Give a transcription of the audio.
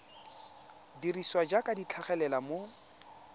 dirisiwa jaaka di tlhagelela mo